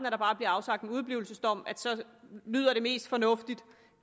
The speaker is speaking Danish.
afsagt en udeblivelsesdom lyder det mest fornuftigt